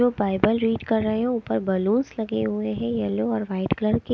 लोग Bible read कर रे है ऊपर बैलूनस लगे हुए है येलो और वाइट कलर के।